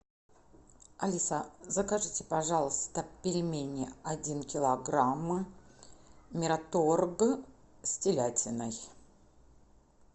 алиса закажите пожалуйста пельмени один килограмм мираторг с телятиной